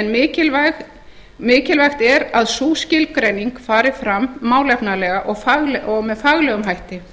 en mikilvægt er að sú skilgreining fari fram málefnalega og með faglegum hætti